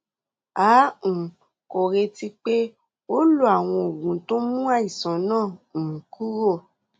a um kò retí pé kó o lo àwọn oògùn tó ń mú àìsàn náà um kúrò